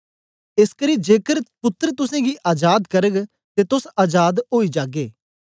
एसकरी जेकर पुत्तर तुसेंगी अजाद करग ते तोस अजाद ओई जागे